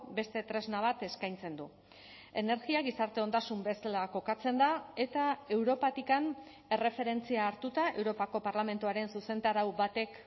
beste tresna bat eskaintzen du energia gizarte ondasun bezala kokatzen da eta europatik erreferentzia hartuta europako parlamentuaren zuzentarau batek